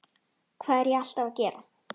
Hvað er ég alltaf að gera?